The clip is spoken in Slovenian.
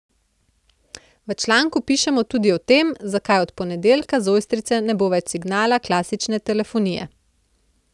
V članku pišemo tudi o tem, zakaj od ponedeljka z Ojstrice ne bo več signala klasične telefonije.